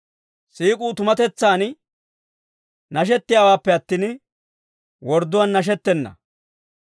Siik'uu tumatetsaan nashettiyaawaappe attin, wordduwaan nashettenna.